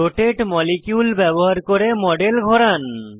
রোটাতে molecule ব্যবহার করে model ঘোরান